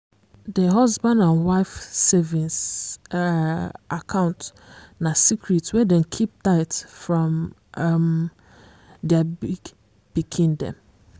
d husband and wife savings um account na secret wey dem keep tight from um their big pikin dem.